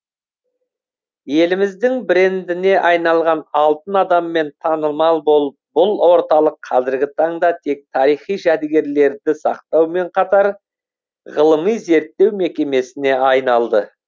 еліміздің брендіне айналған алтын адаммен танымал бұл орталық қазіргі таңда тек тарихи жәдігерлерді сақтаумен қатар ғылыми зерттеу мекемесіне айналды